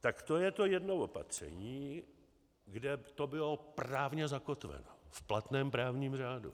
Tak to je to jedno opatření, kde to bylo právně zakotveno v platném právním řádu.